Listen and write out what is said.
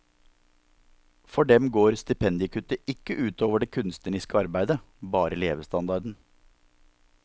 For dem går stipendiekuttet ikke ut over det kunstneriske arbeidet, bare levestandarden.